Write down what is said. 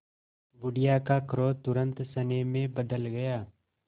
बुढ़िया का क्रोध तुरंत स्नेह में बदल गया